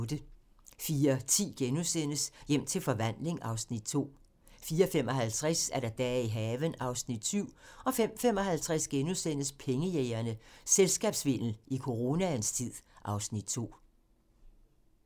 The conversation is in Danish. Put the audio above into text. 04:10: Hjem til forvandling (Afs. 2)* 04:55: Dage i haven (Afs. 7) 05:55: Pengejægerne - Selskabssvindel i coronaens tid (Afs. 2)*